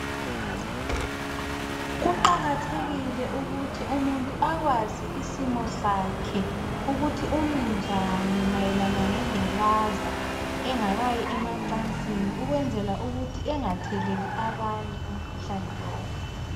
Kuqakathekile ukuthi umuntu akwazi ismo sakhe ukuthi umi njani mayelana ngengculaza engakayi emacansini. Kwenzela ukuthi engatheleli abanye umkhuhlane lowu.